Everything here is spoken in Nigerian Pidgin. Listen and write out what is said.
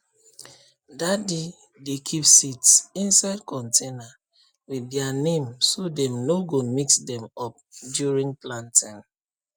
daddy dey keep seeds inside container with their name so dem no go mix them up during planting